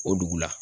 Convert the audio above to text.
O dugu la